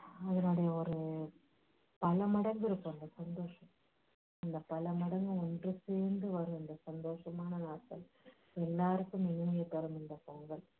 அதனுடைய ஒரு பல மடங்கு இருக்கும் அந்த சந்தோஷம் அந்த பல மடங்கு ஒன்று சேர்ந்து வரும் அந்த சந்தோஷமான் நாட்கள் எல்லாருக்கும் தரும் இந்த பொங்கல்